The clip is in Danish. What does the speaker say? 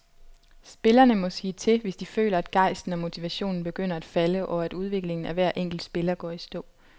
Spillerne må sige til, hvis de føler, at gejsten og motivationen begynder at falde og at udviklingen af hver enkelt spiller går i stå.